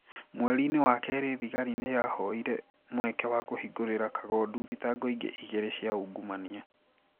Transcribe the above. Mweri-inĩ wa kerĩ thigari nĩ yahoire mweke wa kũhingũrĩra kagondu thitango ingĩ igĩrĩ cia ungumania.